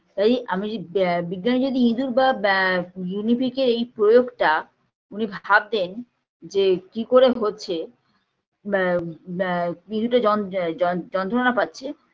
কাজেই আমি যে ব বিজ্ঞানী যদি ইঁদুর বা গিনিপিগের এই প্রয়োগটা উনি ভাবতেন যে কি করে হচ্ছে বা বা ইঁদুরের যন্ত্র আ যন যন্ত্রনা পাচ্ছে